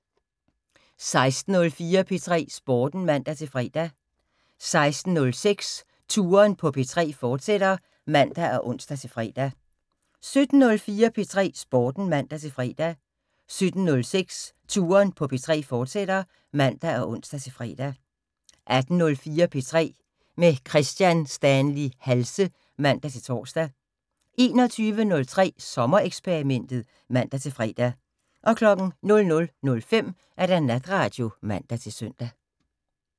16:04: P3 Sporten (man-fre) 16:06: Touren på P3, fortsat (man og ons-fre) 17:04: P3 Sporten (man-fre) 17:06: Touren på P3, fortsat (man og ons-fre) 18:04: P3 med Kristian Stanley Halse (man-tor) 21:03: Sommereksperimentet (man-fre) 00:05: Natradio (man-søn)